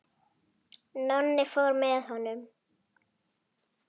Nonni fór með honum.